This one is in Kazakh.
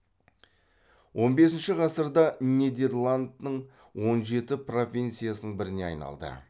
он бесінші ғасырда нидерландның он жеті провинциясының біріне айналды